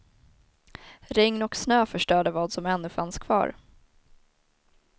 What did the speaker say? Regn och snö förstörde vad som ännu fanns kvar.